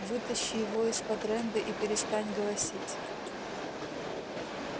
вытащи его из-под рэнды и перестань голосить